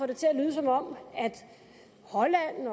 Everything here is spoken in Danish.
det til at lyde som om holland